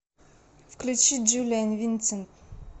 включи джулиан винсент